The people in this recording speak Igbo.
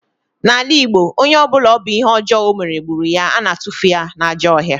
N'ala Igbo, onye ọ bụla ọ bụ ihe ọjọọ ọ mere gburu ya, a na-atufu ya n'ajọ ọhịa